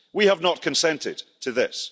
We have not consented to this.